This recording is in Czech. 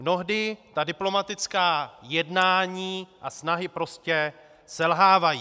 Mnohdy ta diplomatická jednání a snahy prostě selhávají.